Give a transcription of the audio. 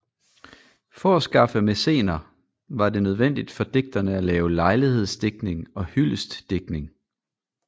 For at skaffe mæcener var det nødvendigt for digterne at lave lejlighedsdigtning og hyldestdigtning